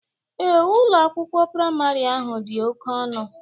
Ee, Ụlọ akwụkwọ praịmarị ahụ dị oke ọnụ